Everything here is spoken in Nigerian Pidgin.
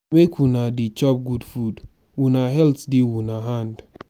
make una dey chop good food una health dey una hand.